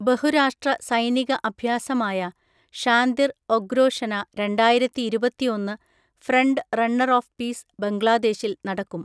ബഹുരാഷ്ട്ര സൈനിക അഭ്യാസമായ ഷാന്തിർ ഒഗ്രോഷെന രണ്ടായിരത്തിഇരുപത്തിഒന്ന് ഫ്രണ്ട് റണ്ണർ ഓഫ് പീസ് ബംഗ്ലാദേശിൽ നടക്കും.